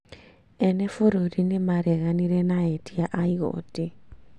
Ene bũrũri nĩ mareganire na etia a igotĩ